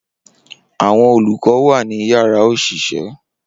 Awọn olukọ wa ni yárà oṣiṣẹ.